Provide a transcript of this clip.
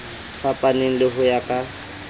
fapaneng le ho ya ka